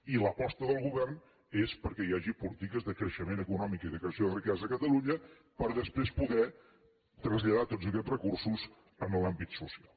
i l’aposta del govern és perquè hi hagi polítiques de creixement econòmic i de creació de riquesa a catalunya per després poder traslladar tots aquests recursos a l’àmbit social